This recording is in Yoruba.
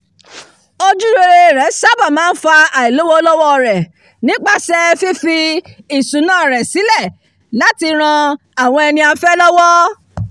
ojúrere rẹ̀ sábà máa ń fa àìlówólọ́wọ́ rẹ̀ nípasẹ̀ fífi ìṣúná ara rẹ̀ sílẹ̀ láti ran àwọn ẹniafẹ́ lọ́wọ́